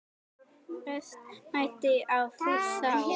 Mest mæddi á Fúsa og